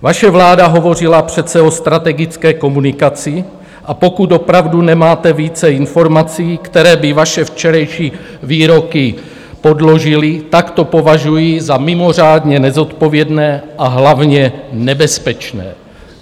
Vaše vláda hovořila přece o strategické komunikaci, a pokud opravdu nemáte více informací, které by vaše včerejší výroky podložily, tak to považuji za mimořádně nezodpovědné, a hlavně nebezpečné.